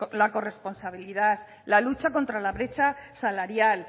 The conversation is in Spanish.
la corresponsabilidad la lucha contra la brecha salarial